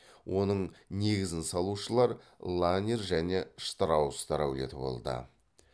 оның негізін салушылар ланнер және штраустар әулеті болды